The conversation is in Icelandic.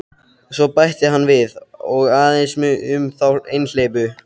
Svo bætti hann við: Og aðeins um þá einhleypu.